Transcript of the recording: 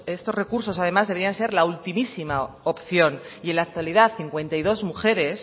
estos recursos además deberían ser la ultimísima opción y en la actualidad cincuenta y dos mujeres